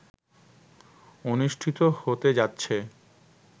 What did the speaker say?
অনুষ্ঠিত হতে যাচ্ছে